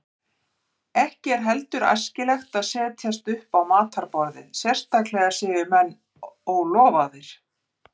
Ekki er heldur æskilegt að setjast upp á matarborðið, sérstaklega séu menn ólofaðir.